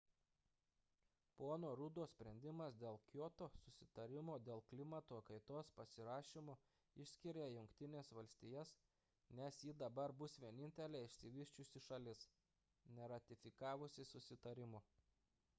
pono ruddo sprendimas dėl kioto susitarimo dėl klimato kaitos pasirašymo išskiria jungtines valstijas nes ji dabar bus vienintelė išsivysčiusi šalis neratifikavusi susitarimo